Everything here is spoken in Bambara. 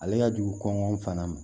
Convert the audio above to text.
Ale ka jugu kɔngɔn fana ma